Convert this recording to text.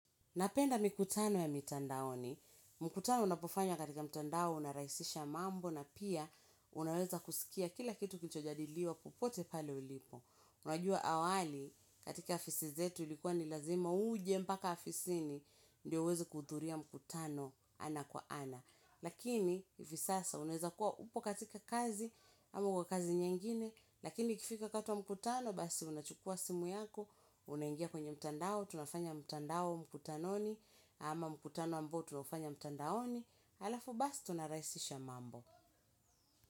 Napenda mikutano ya mitandaoni, mkutano unapofanywa katika mtandao unarahisisha mambo na pia unaweza kusikia kila kitu kilicho jadiliwa popote pale ulipo. Unajua awali katika afisi zetu ilikuwa ni lazima uje mpaka afisini ndio uweze kuhudhuria mkutano ana kwa ana. Lakini hivi sasa unaweza kuwa upo katika kazi. Amo uko kazi nyengine. Lakini ikifika wakati wa mkutano basi unachukua simu yako. Unaingia kwenye mtandao. Tunafanya mtandao mkutanoni. Ama mkutano ambao tunafanya mtandaoni. Alafu basi tunarahisisha mambo.